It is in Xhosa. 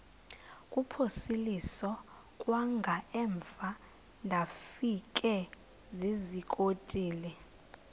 kuphosiliso kwangaemva ndafikezizikotile